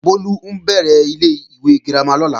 Bólú ń bẹ̀rẹ̀ ilé-ìwé girama lọ́la